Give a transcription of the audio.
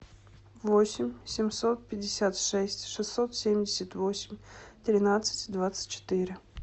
восемь семьсот пятьдесят шесть шестьсот семьдесят восемь тринадцать двадцать четыре